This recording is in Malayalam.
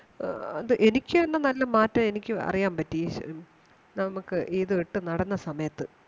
ആഹ് എനിക്ക് തന്നെ നല്ല മാറ്റം എനിക്ക് അറിയാൻ പറ്റി നമുക്ക് ഇത് ഇട്ട് നടന്ന സമയത്ത്